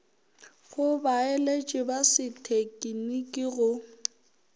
go baeletši ba sethekniki go